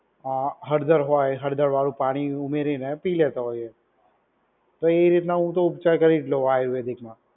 આ હળદર હોય, હળદર વાળું પાણી ઉમેરીને પી લેતો હોય એ. તો એ રીતને હું તો ઉપચાર કરી જ લઉં આયુર્વેદિકમાં.